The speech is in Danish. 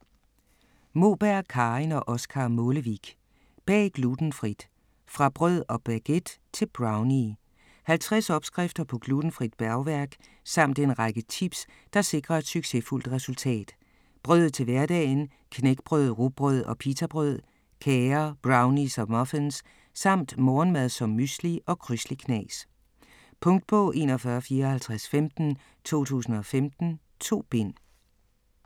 Moberg, Karin og Oscar Målevik: Bag glutenfrit: fra brød og baguette til brownie 50 opskrifter på glutenfrit bagværk samt en række tips, der sikrer et succesfuldt resultat. Brød til hverdagen, knækbrød, rugbrød og pitabrød, kager, brownies og muffins samt morgenmad som mysli og crysli-knas. Punktbog 415415 2015. 2 bind.